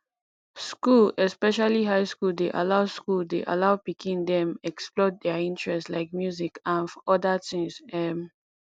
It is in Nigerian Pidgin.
school especially high school dey allow school dey allow pikin dem explore their interest like music anf odda things um